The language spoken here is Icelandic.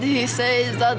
ég segi auðvitað